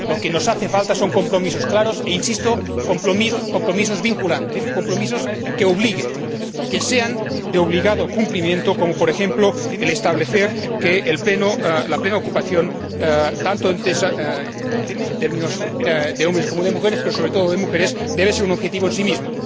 Lo que nos hace falta son compromisos claros, e insisto, compromisos vinculantes, compromisos que obliguen, que sean de obligado cumplimiento, como, por ejemplo, establecer que la plena ocupación, tanto en términos de hombres como de mujeres, pero sobre todo de mujeres, debe ser un objetivo en sí mismo.